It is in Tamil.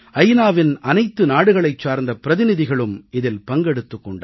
நாவின் அனைத்து நாடுகளைச் சார்ந்த பிரதிநிதிகளும் இதில் பங்கெடுத்துக் கொண்டார்கள்